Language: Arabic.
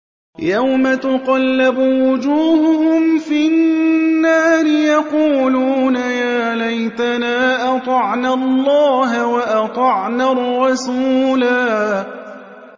يَوْمَ تُقَلَّبُ وُجُوهُهُمْ فِي النَّارِ يَقُولُونَ يَا لَيْتَنَا أَطَعْنَا اللَّهَ وَأَطَعْنَا الرَّسُولَا